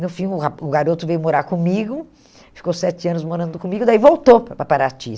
No fim, o ra o garoto veio morar comigo, ficou sete anos morando comigo, daí voltou para Pa Paraty.